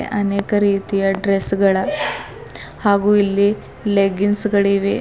ಅನೇಕ ರೀತಿಯ ಡ್ರೆಸ್ ಗಳ ಹಾಗು ಇಲ್ಲಿ ಲೆಗ್ಗಿನ್ಸ್ ಗಳಿವೆ.